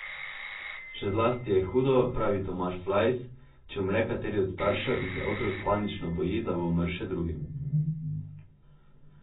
Še zlasti je hudo, pravi Tomaž Flajs, če umre kateri od staršev in se otrok panično boji, da bo umrl še drugi.